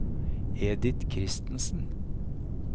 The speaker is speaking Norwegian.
Edith Kristensen